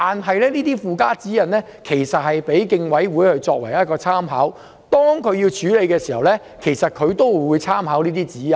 其實附加指引是供競爭事務委員會作參考，他們處理問題時會參考這些指引。